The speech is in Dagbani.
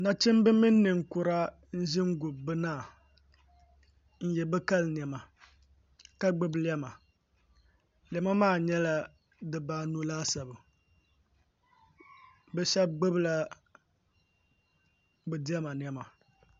Nachimbi mini ninkura n ʒɛ n gubi bi naa nyɛ bi kali niɛma ka gbubi lɛma lɛma maa nyɛla dibaanu laasabu bi shab gbubila bi diɛma niɛma